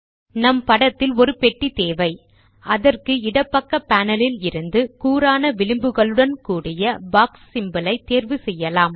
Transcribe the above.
நம் படத்தில் ஒரு பெட்டி தேவை அதற்கு இடப்பக்க பேனல் ல் இருந்து கூரான விளிம்புகளுடன் உள்ள பாக்ஸ் சிம்போல் ஐத் தேர்வு செய்யலாம்